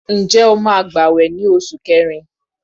Ǹjẹ́ o máa gbawe ní oṣù kẹrin?